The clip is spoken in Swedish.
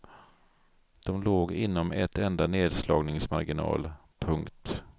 De låg inom ett enda nerslagsmarginal. punkt